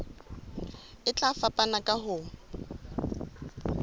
e tla fapana ka ho